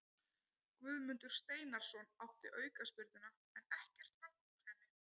Guðmundur Steinarsson átti aukaspyrnuna en ekkert varð úr henni.